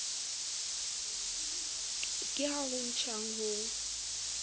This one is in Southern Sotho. ke ha ho tjhang ho